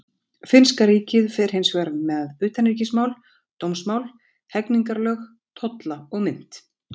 Finnska ríkið fer hins vegar með utanríkismál, dómsmál, hegningarlög, tolla og mynt.